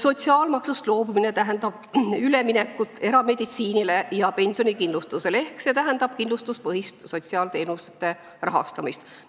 "Sotsiaalmaksust loobumine tähendaks üleminekut erameditsiinile ja pensionikindlustusele ehk kindlustuspõhist sotsiaalteenuste rahastamist.